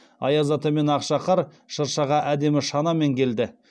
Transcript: аяз ата мен ақшақар шыршаға әдемі шанамен келді